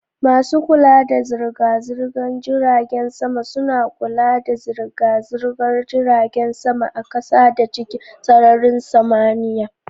Masu kula da zirga-zirgar jiragen sama suna kula da zirga-zirgar jiragen sama a kasa da cikin sararin samaniya.